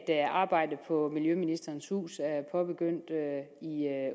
at arbejdet på miljøministerens hus er påbegyndt i